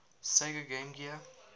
sega game gear